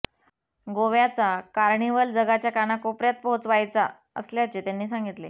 गोव्याचा कार्निव्हल जगाच्या कानाकोपर्यात पोहचवायचा असल्याचे त्यांनी सांगितले